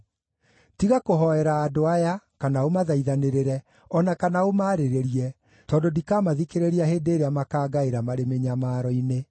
“Tiga kũhoera andũ aya, kana ũmathaithanĩrĩre, o na kana ũmaarĩrĩrie, tondũ ndikamathikĩrĩria hĩndĩ ĩrĩa makaangaĩra marĩ mĩnyamaro-inĩ.